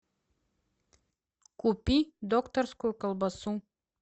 купи докторскую колбасу